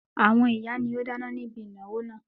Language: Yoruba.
Àwọn ìyá ni ó dáná ní ibi ìnáwó náà.